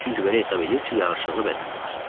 çünki belə hesab edir ki, yaraşıqlı bədəni var.